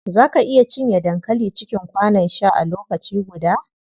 Za ka iya cinye dankali cikin kwanon sha a lokaci guda?